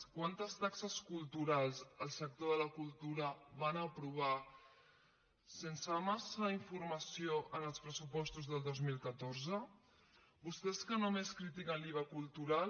quantes taxes culturals al sector de la cultura van aprovar sense massa informació en els pressupostos del dos mil catorze vostès que només critiquen l’iva cultural